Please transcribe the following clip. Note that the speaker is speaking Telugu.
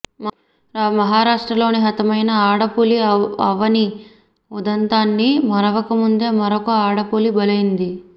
మహారాష్ట్రలో హతమైన ఆడపులి అవని ఉదంతాన్ని మరవకముందే మరొక ఆడపులి బలైంది